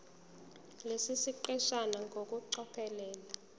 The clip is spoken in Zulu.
lesi siqeshana ngokucophelela